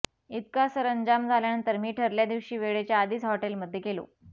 इतका सरंजाम झाल्यानंतर मी ठरल्या दिवशी वेळेच्या आधीच हॉटेलमध्ये गेलो